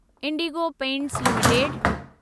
Indigo Paints limited